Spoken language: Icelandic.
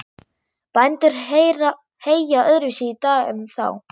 Bændur heyja öðruvísi í dag en þá.